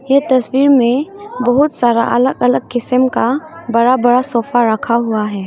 ये तस्वीर में बहुत सारा अलग अलग किस्म का बड़ा बड़ा सोफा रखा हुआ है।